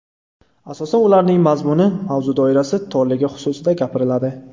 Asosan ularning mazmuni, mavzu doirasi torligi xususida gapiriladi.